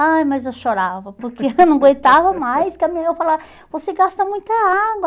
Ai, mas eu chorava, porque eu não aguentava mais, porque a minha irmã falava, você gasta muita água.